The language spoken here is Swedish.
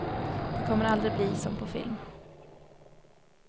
Det kommer aldrig att bli som på film.